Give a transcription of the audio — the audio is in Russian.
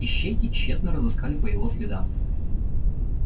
ищейки тщетно разыскали по его следам